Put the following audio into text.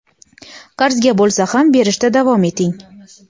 qarzga bo‘lsa ham berishda davom eting.